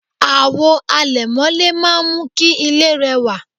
àwo àlẹ̀mọ́lẹ̀ máà ń mú kí ilé rẹwà